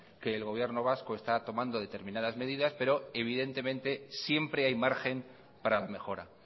que el gobierno vasco está tomando determinadas medidas pero evidentemente siempre hay margen para la mejora